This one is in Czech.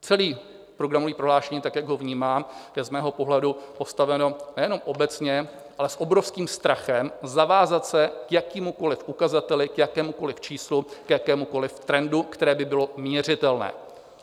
Celé programové prohlášení, tak jak ho vnímám, je z mého pohledu postaveno nejenom obecně, ale s obrovským strachem zavázat se k jakémukoliv ukazateli, k jakémukoliv číslu, k jakémukoliv trendu, který by byl měřitelný.